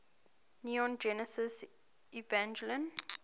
neon genesis evangelion